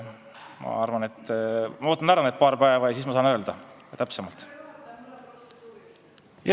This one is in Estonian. Ma ootan paar päeva ja siis ma saan täpsemalt öelda.